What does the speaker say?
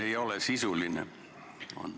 Ei ole, sisuline on.